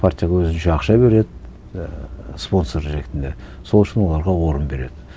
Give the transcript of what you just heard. партия көзінше ақша береді ііі спонсор ретінде сол үшін оларға орын береді